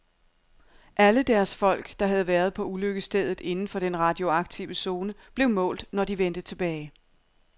Alle deres folk, der havde været på ulykkesstedet inden for den radioaktive zone, blev målt, når de vendte tilbage.